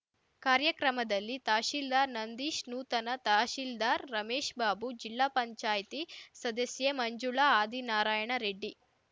ಕಾರ್ಯಕ್ರಮದಲ್ಲಿ ತಹಶೀಲ್ದಾರ್ ನಂದೀಶ್ ನೂತನ ತಹಶೀಲ್ದಾರ್ ರಮೇಶ್‍ಬಾಬು ಜಿಲ್ಲಾಪಂಚಾಯತಿ ಸದಸ್ಯೆ ಮಂಜುಳಾ ಆದಿನಾರಾಯಣರೆಡ್ಡಿ